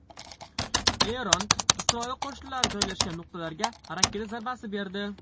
Eron Isroil qo‘shinlari joylashgan nuqtalarga raketa zarbasi berdi.